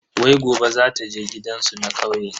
Wai gobe zata je gidansu na kauye.